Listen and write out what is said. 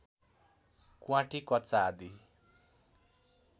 क्वाँटी कच्चा आदि